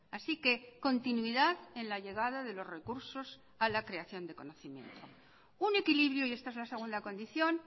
así que continuidad en la llegada de los recursos a la creación de conocimiento un equilibrio y esta es la segunda condición